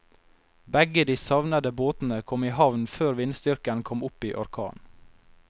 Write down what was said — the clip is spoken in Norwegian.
Begge de savnede båtene kom i havn før vindstyrken kom opp i orkan.